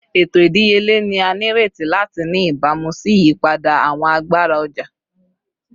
Eto idiyele ni a nireti lati ni ibamu si iyipada awọn agbara ọja